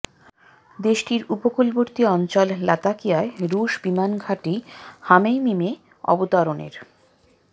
দেশটির উপকূলবর্তী অঞ্চল লাতাকিয়ায় রুশ বিমান ঘাঁটি হামেয়মিমে অবতরণের